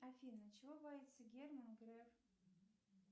афина чего боится герман греф